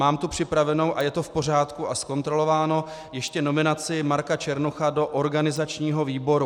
Mám tu připravenou, a je to v pořádku a zkontrolováno, ještě nominaci Marka Černocha do organizačního výboru.